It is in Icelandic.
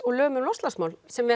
og lög um loftslagsmál sem